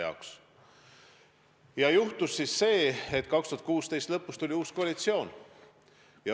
Ja siis juhtus see, et 2016. aasta lõpus tuli uus koalitsioon.